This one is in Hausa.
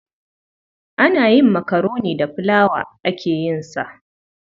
Ana yin makaroni da filawa ake yin sa.